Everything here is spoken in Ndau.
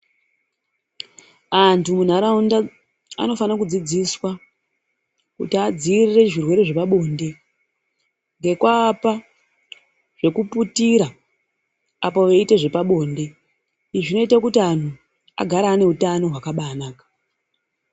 Antu munharaunda, anofanira kudzidziswa kuti adziirire zvirwere zvepabonde ngekuapa zvekuputira apo veiita zvepabonde. Izvi zvinoita kuti antu agare aneutano hwakabaanaka.